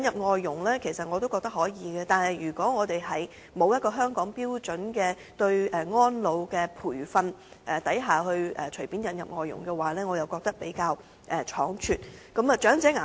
我其實也認同可以引入外勞，但如果沒有制訂香港對安老培訓的標準便隨便引入外勞，則會比較倉卒。